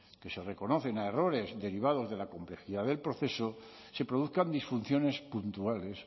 que se reconocen a errores derivados de la complejidad del proceso se produzcan disfunciones puntuales